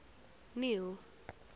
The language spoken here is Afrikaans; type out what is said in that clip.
neil